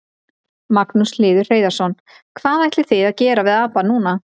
Magnús Hlynur Hreiðarsson: Og hvað ætlið þið að gera við apann núna?